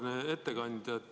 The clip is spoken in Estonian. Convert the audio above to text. Auväärne ettekandja!